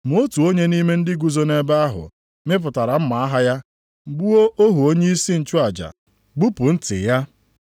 Ma otu onye nʼime ndị guzo nʼebe ahụ, mịpụtara mma agha ya, gbuo ohu onyeisi nchụaja, gbupụ ntị ya.